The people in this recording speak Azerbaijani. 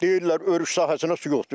Deyirlər örüş sahəsinə su yoxdur.